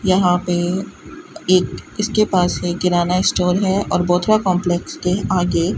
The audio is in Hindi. यहां पे एक इसके पास एक किराना स्टोर है और बोथुआ कांप्लेक्स के आगे--